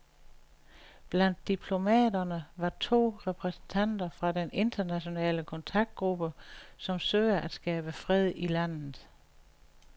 Blandt diplomaterne var to repræsentanter fra den internationale kontaktgruppe, som søger at skabe fred i landet.